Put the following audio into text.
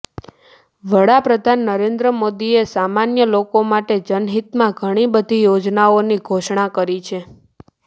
વડાપ્રધાન નરેન્દ્ર મોદીએ સામાન્ય લોકો માટે જનહિતમાં ઘણી બધી યોજનાઓની ઘોષણા કરી છે